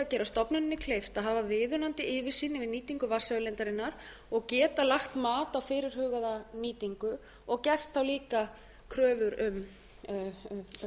gera stofnuninni kleift að hafa viðunandi yfirsýn yfir nýtingu vatnsauðlindarinnar og geta lagt mat á fyrirhugaða nýtingu og gert þá líka kröfur um